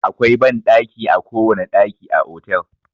Akwai banɗanki a kowane ɗaki a otel.